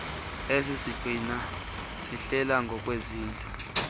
esisiqina ihlelwa ngokwezintlu